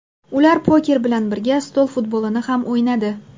Ular poker bilan birga, stol futbolini ham o‘ynadi.